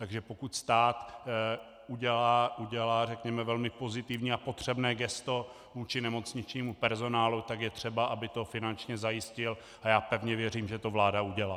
Takže pokud stát udělá řekněme velmi pozitivní a potřebné gesto vůči nemocničnímu personálu, tak je třeba, aby to finančně zajistil, a já pevně věřím, že to vláda udělá.